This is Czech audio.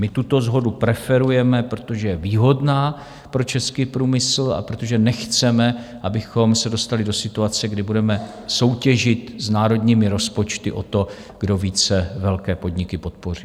My tuto shodu preferujeme, protože je výhodná pro český průmysl a protože nechceme, abychom se dostali do situace, kdy budeme soutěžit s národními rozpočty o to, kdo více velké podniky podpoří.